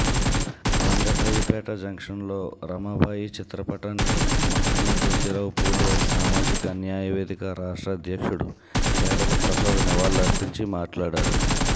రంగశాయిపేట జంక్షన్లో రమాబాయి చిత్రపటానికి మహాత్మా జ్యోతిరావుఫూలే సామాజిక న్యాయ వేదిక రాష్ట్ర అధ్యక్షుడు కేడల ప్రసాద్ నివాల్లర్పించి మాట్లాడారు